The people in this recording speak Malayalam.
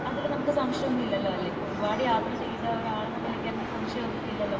അതിൽ നമുക് സംശയം ഒന്നും ഇല്ലലോലെ ഇപ്പോ ഒരുപാട് യാത്രകൾ ചെയ്ത ആൾ എന്ന നിലക് അതിൽ സംശയം ഒന്നും ഇല്ലാലോ